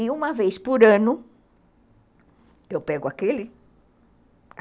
E uma vez por ano, eu pego aquele